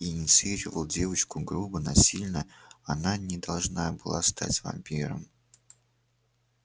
инициировал девочку грубо насильно она не должна была стать вампиром